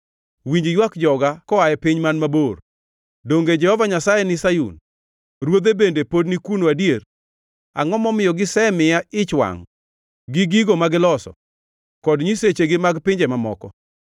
Winj ywak joga koa e piny man mabor: “Donge Jehova Nyasaye ni Sayun? Ruodhe bende pod ni kuno adier?” “Angʼo momiyo gisemiya ich wangʼ gigigo ma giloso, kod nyisechegi mag pinje mamoko?”